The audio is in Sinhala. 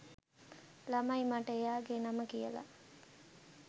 ළමයි මට එයාගෙ නම කියල